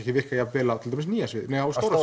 ekki virka jafn vel á til dæmis nýja sviðinu nei á Stóra